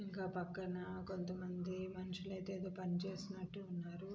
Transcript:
ఇక్కడ పక్కన కొంతమంది మనుషులైతే ఏదో పని చేస్తున్నట్టు ఉన్నారు.